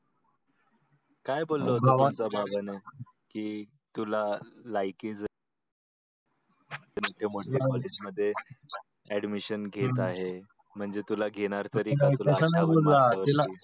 काय बोलला होता तुम्हाला की तुला लायकी तर ते म्हटल college मध्ये admission घेत आहे म्हणजे तुला घेणार